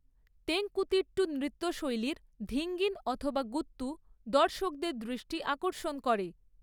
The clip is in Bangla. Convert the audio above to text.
তেঙ্কুতিট্টু নৃত্যশৈলীর ‘ধীঙ্গিণ’ অথবা ‘গুত্তু' দর্শকদের দৃষ্টি আকর্ষণ করে।